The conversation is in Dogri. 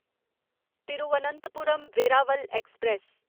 तिरुवनंतपुरम वेरावल ऐक्सप्रैस